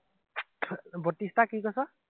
বত্ৰিশটা কি কৈছ?